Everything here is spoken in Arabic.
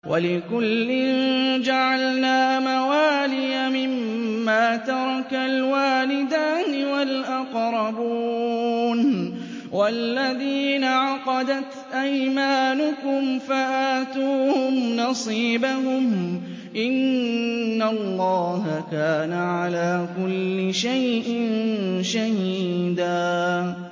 وَلِكُلٍّ جَعَلْنَا مَوَالِيَ مِمَّا تَرَكَ الْوَالِدَانِ وَالْأَقْرَبُونَ ۚ وَالَّذِينَ عَقَدَتْ أَيْمَانُكُمْ فَآتُوهُمْ نَصِيبَهُمْ ۚ إِنَّ اللَّهَ كَانَ عَلَىٰ كُلِّ شَيْءٍ شَهِيدًا